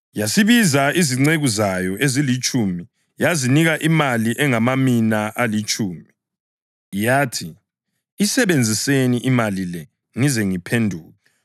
Yasibiza izinceku zayo ezilitshumi yazinika imali engamamina alitshumi. Yathi, ‘Isebenziseni imali le ngize ngiphenduke.’